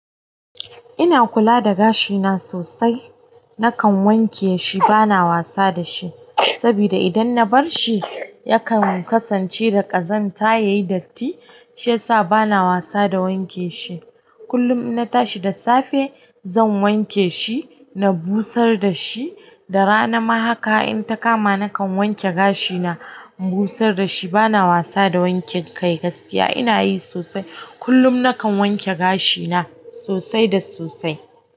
Ina kula da gashina sosai. Nakan wanke shi bana wasa da shi. Saboda idan na bar shi yakan kasance da ƙazanta yayi datti shiyasa bana wasa da wanke shi. Kullum in na tashi da safe zan wanke shi na busar da shi. Da rana ma haka in ta kama na kan wanke gashina, in busar da shi bana wasa da wanke kai gaskiya ina yi sosai. Kullum nakan wanke gashi na sosai da sosai.